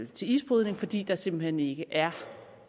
til isbrydning fordi der simpelt hen ikke er